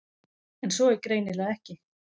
En svo er greinilega ekki.